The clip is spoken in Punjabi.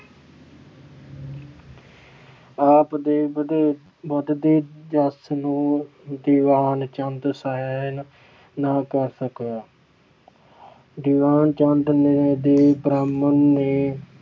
ਆਪ ਦੇ ਵਧੇ ਅਹ ਵਧਦੇ ਜਸ ਨੂੰ ਦੀਵਾਨ ਚੰਦ ਸਹਿਣ ਨਾ ਕਰ ਸਕਿਆ। ਦੀਵਾਨ ਚੰਦ ਨੇ ਤੇ ਬ੍ਰਾਹਮਣ ਨੇ